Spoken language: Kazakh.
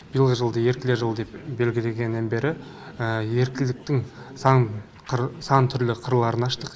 биылғы жылды еріктілер жылы деп белгілегеннен бері еріктіліктің сан түрлі қырларын аштық